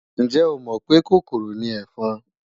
Ǹjẹ́ o mọ̀ pé kòkòrò ni ẹ̀fọn?